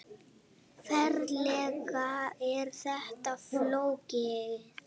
Ferlega er þetta flókið!